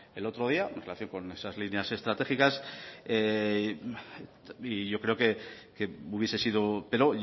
el otro día en relación con esas líneas estratégicas y yo creo que hubiese sido pero